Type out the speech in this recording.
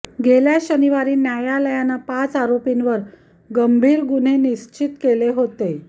गेल्या शनिवारी न्यायालयानं पाच आरोपींवर गंभीर गुन्हे निश्चित केले होते